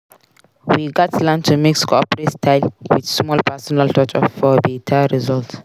We gats learn to mix corporate style with small personal touch for beta result.